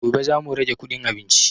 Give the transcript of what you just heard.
Gobe za mu rage kuɗin abinci